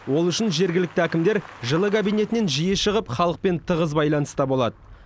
ол үшін жергілікті әкімдер жылы кабинетінен жиі шығып халықпен тығыз байланыста болады